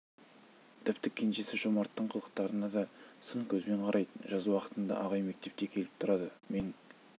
тіпті кенжесі жомарттың қылықтарына да сын көзбен қарайтын жаз уақытында ағай мектепке келіп тұрады менің